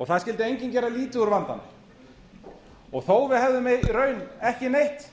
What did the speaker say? og það skyldi enginn gera lítið úr vandanum þó að við hefðum í raun ekki neitt